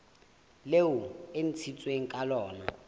leo e ntshitsweng ka lona